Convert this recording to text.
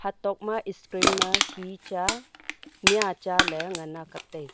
tok ma screen ma hi cha mia cha le ngan a kap tega.